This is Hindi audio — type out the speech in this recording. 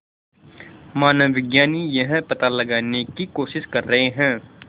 मानवविज्ञानी यह पता लगाने की कोशिश कर रहे हैं